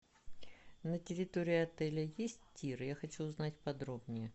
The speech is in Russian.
на территории отеля есть тир я хочу узнать подробнее